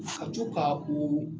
Ka co ka o